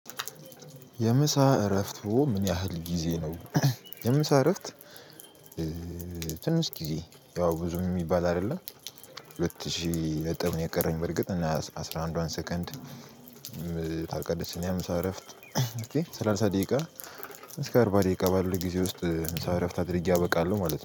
የምሳ እረፍቱ ምን ያህል ጊዜ ነው? የምሳ እረፍት ትንሽ ጊዜ ያው ብዙም የሚባል አይደለም። ሁለት ሺህ ነጥብ ነው የቀረኝ በርግጥ እና አስራ አንዷን ሰከንድ። አልቀደስንም ምሳ እረፍት ሰላሳ ደቂቃ እስከ አርባ ደቂቃ ባሉ ጊዜ ውስጥ ምሳ እረፍት አድርጌ አበቃለሁ ማለት ነው